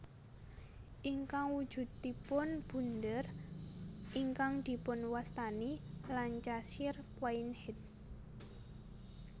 Ingkang wujudipun bunder ingkang dipunwastani Lancashire Plain Head